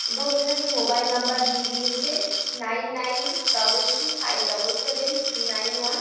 এবং এখানে mobile number দিয়ে দিয়েছে nine nine double three five double seven three nine one.